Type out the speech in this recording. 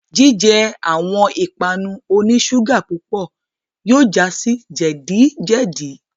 Jijẹ awọn ipanu oni ṣuga pupọ yóò ja si jẹdi-jẹdi